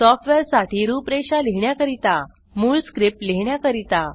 software साठी रूप रेषा लिहीण्या करिता मूळ स्क्रिप्ट लिहीण्याकरीता